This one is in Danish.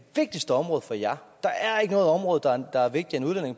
vigtigste område for jer der er ikke noget område der er vigtigere